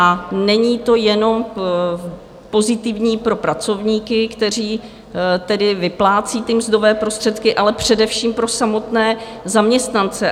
A není to jenom pozitivní pro pracovníky, kteří tedy vyplácejí ty mzdové prostředky, ale především pro samotné zaměstnance.